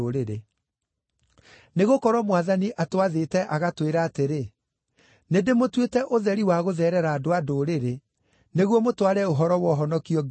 Nĩgũkorwo Mwathani atwathĩte agatwĩra atĩrĩ: “ ‘Nĩndĩmũtuĩte ũtheri wa gũtherera andũ-a-Ndũrĩrĩ, nĩguo mũtware ũhoro wa ũhonokio nginya ituri-inĩ cia thĩ.’ ”